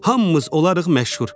Hamımız olarıq məşhur.